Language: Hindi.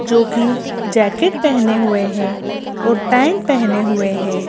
जो कि जैकेट पहने हुए हैं और पैंट पहने हुए हैं।